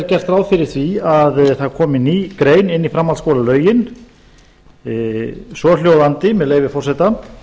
gert ráð fyrir því að það komi ný grein inn í framhaldsskólalögin svohljóðandi með leyfi forseta